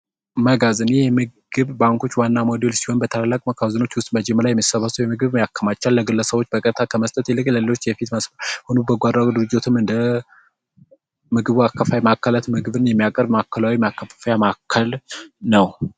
መጋዘን የምግብ ባንኮች ዋና ሞዴሎች ሲሆን፤ በታላቅ መካዝኖች ውስጥ በጅምላ የመሰባሰቢያ ምግብን ያከማቻል ግለሰቦች በቀትታ መስጠት የሌለው ይመስል ሁሉ በጎ አድራጎት ድርጅቶችም እንደ ምግብ አከፋፋይ ማዕከላት ምግብን የሚያቀርብ ማዕከላዊ ማከፋፈያ ማዕከል ነው።